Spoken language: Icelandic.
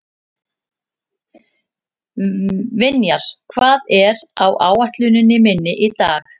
Vinjar, hvað er á áætluninni minni í dag?